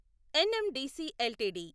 NMDC LTD